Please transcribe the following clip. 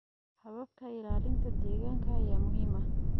Hababka ilaalinta deegaanka ayaa muhiim ah.